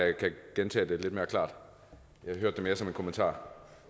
gentage det lidt mere klart jeg hørte det mere som en kommentar